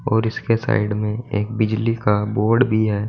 और इसके साइड में एक बिजली का बोर्ड भी है।